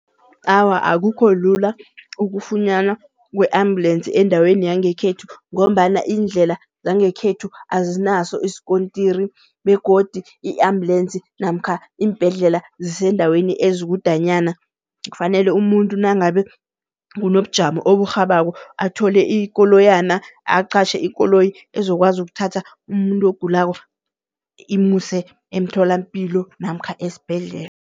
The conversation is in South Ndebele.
Awa akukho lula ukufunyanwa kwe-ambulensi endaweni yangekhethu ngombana iindlela zangekhethu azinaso isikontiri begodu i-ambulensi namkha iimbhedlela ziseendaweni ezikudanyana. Kufanele umuntu nangabe kunobujamo oburhabako athole ikoloyana aqatjhe ikoloyi ezokwazi ukuthatha umuntu ogulako imuse emtholampilo namkha esibhedlela.